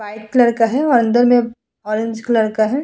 White colour का है और अंदर में ऑरेंज कलर का है।